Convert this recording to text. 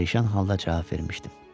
Pərişan halda cavab vermişdim.